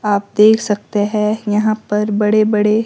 आप देख सकते हैं यहां पर बड़े बड़े --